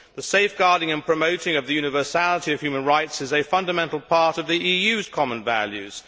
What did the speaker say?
The safeguarding and promoting of the universality of human rights is a fundamental part of the EU's common values.